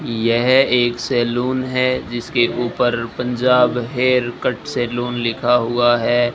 यह एक सैलून है जिसके ऊपर पंजाब हेयर कट सैलून लिखा हुआ है।